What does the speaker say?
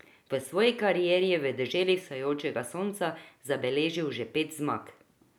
V svoji karieri je v deželi vzhajajočega sonca zabeležil že pet zmag.